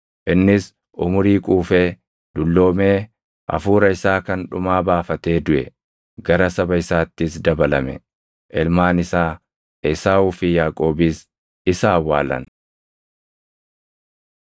Innis umurii quufee, dulloomee hafuura isaa kan dhumaa baafatee duʼe; gara saba isaattis dabalame. Ilmaan isaa Esaawuu fi Yaaqoobis isa awwaalan.